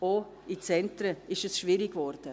Auch in den Zentren ist es schwierig geworden.